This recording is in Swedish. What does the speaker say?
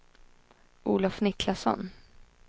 Olof Niklasson